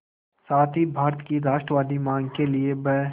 साथ ही भारत की राष्ट्रवादी मांग के लिए ब्